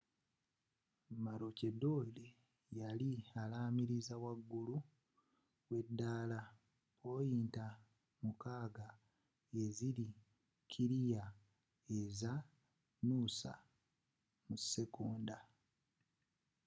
maroochdydore yali amaliriza wagulu w'edaala poyinta mukaaga eziri kiriya eza noosa mu sekonda